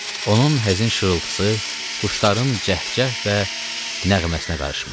Onun həzin şırıltısı quşların cəhcəh və nəğməsinə qarışmışdı.